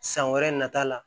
San wɛrɛ nata la